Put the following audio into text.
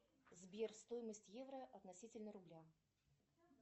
сбер стоимость евро относительно рубля